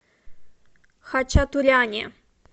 хачатуряне